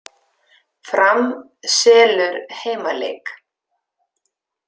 Fram selur heimaleik